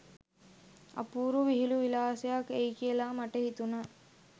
අපූරු විහිළු විලාසයක් එයි කියල මට හිතුණා